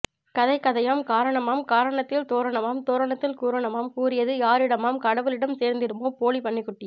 கதை கதையாம் காரணமாம் காரணத்தில் தோரணமாம் தோரணத்தில் கூறனுமாம் கூறியது யாரிடமாம் கடவுளிடம் சேர்ந்திடுமா போலி பன்னிகுட்டி